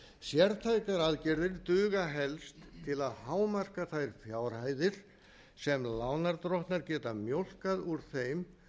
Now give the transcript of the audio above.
sértækar aðgerðir duga helst til að hámarka þær fjárhæðir sem lánardrottnar geta mjólkað úr þeim